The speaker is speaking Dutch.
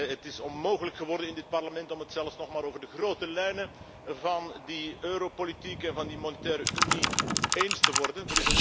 Het is onmogelijk geworden om het in dit Parlement zelfs nog maar over de grote lijnen van die europolitiek en van die monetaire unie eens te worden.